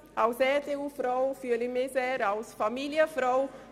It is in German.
Als EDU-Frau bin ich eine Familienfrau.